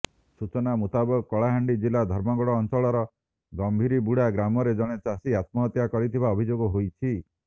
ସୂଚନା ମୁତାବକ କଳାହାଣ୍ଡି ଜିଲ୍ଲା ଧର୍ମଗଡ ଅଂଚଳର ଗମ୍ଭାରୀବୁଡା ଗ୍ରାମରେ ଜଣେ ଚାଷୀ ଆତ୍ମହତ୍ୟା କରିଥିବା ଅଭିଯୋଗ ହୋଇଛି